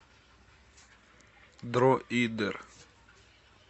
дроидер